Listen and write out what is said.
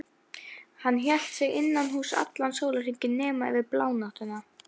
Hann hélt sig innan húss allan sólarhringinn nema yfir blánóttina.